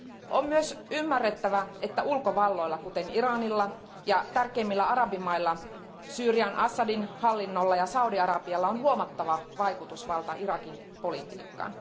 On myös ymmärrettävä, että ulkovalloilla, kuten Iranilla ja tärkeimmillä arabimailla, Syyrian Assadin hallinnolla ja Saudi Arabialla, on huomattava vaikutusvalta Irakin politiikkaan.